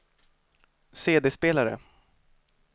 CD-spelare